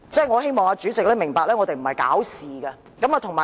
我希望主席明白，我們不是想搞事。